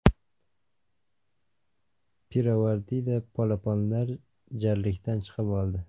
Pirovardida polaponlar jarlikdan chiqib oldi.